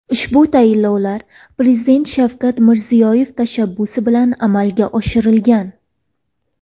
Ushbu tayinlovlar Prezident Shavkat Mirziyoyev tashabbusi bilan amalga oshirilgan.